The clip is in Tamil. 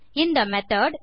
இந்த மெத்தோட்